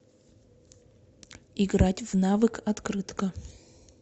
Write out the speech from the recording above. играть в навык открытка